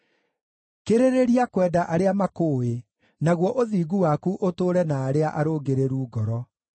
Kĩrĩrĩria kwenda arĩa makũũĩ, naguo ũthingu waku ũtũũre na arĩa arũngĩrĩru ngoro.